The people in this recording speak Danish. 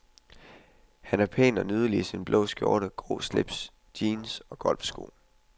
Han er pæn og nydelig i sin blå skjorte, grå slips, jeans, og golfsko.